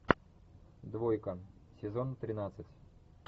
двойка сезон тринадцать